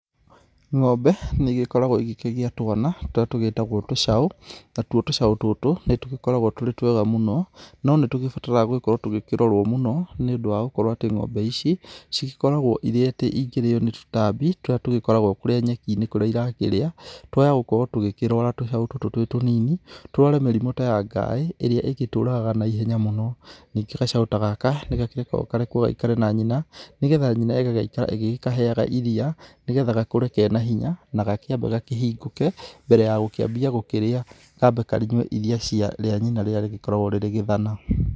Ng'ombe nĩ igĩkoragwo igĩkĩgĩa twana tũrĩa tũgĩtagwo tũcaũ. Natuo tũcaũ tũtũ, nĩ tũgĩkoragwo tũrĩ twega mũno, no nĩtũgĩbataraga gũkorwo tũgĩkĩrorwo mũno, nĩũndũ wa gũkorwo atĩ ng'ombe ici cigĩkoragwo irĩ atĩ ingĩrĩo nĩ tũtambi tũrĩa tũgĩkoragwo kũria nyeki-inĩ, kũrĩa irakĩrĩa. Twa haya gũkorwo tũgĩkĩrwara tũcaũ tũtũ twĩ tũnini. Tũrware mĩrimũ ta ya ngaĩ, ĩrĩa ĩngĩtũraga na ihenya mũno. Ningĩ gacaũ ta gaka, nĩgakĩrekagwo karekwo gaikare na nyina, nĩgetha nyina igagĩikara ĩgĩkaheaga iria nĩgetha gakũre ke na hinya, na gakĩambe gakĩhingũke, mbere ya gũkĩambia gũkĩrĩa, kambe karĩnyue iria cia, ria nyina rĩrĩa rĩgĩkoragwo rĩ gĩthana.